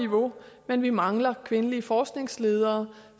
niveau men vi mangler kvindelige forskningsledere